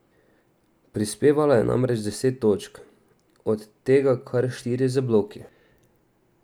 Prispevala je namreč deset točk, od tega kar štiri z bloki.